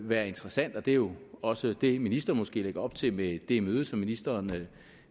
være interessant og det er jo også det som ministeren måske lægger op til med det møde som ministeren